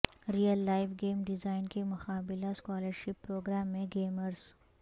real life game design کی مقابلہ scholarship programme میں گیمرز